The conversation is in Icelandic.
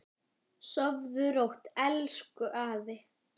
Sofðu rótt, elsku afi.